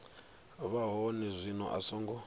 vha hone zwino a songo